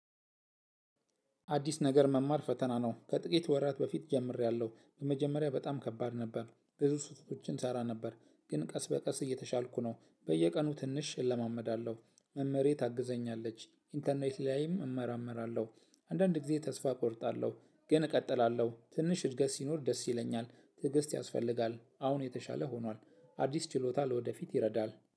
አዲስ ነገር መማር ፈተና ነው ከጥቂት ወራት በፊት ጀምሬያለሁ መጀመሪያ በጣም ከባድ ነበር ብዙ ስተቶችን እሰራ ነበር ግን ቀስ በቀስ እየተሻልኩ ነው። በየቀኑ ትንሽ እለማመዳለሁ መምህሬ ታግዘኛለች ኢንተርኔት ላይ እመረምራለሁ። አንዳንድ ጊዜ ተስፋ እቆርጣለሁ ግን እቀጥላለሁ ትንሽ እድገት ሲኖር ደስ ይለኛል። ትዕግስት ያስፈልጋል አሁን የተሻለ ሁኗል። አዲስ ችሎታ ለወደፊት ይረዳል